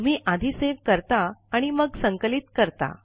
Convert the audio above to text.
तुम्ही आधी सेव्ह करता आणि मग संकलित करता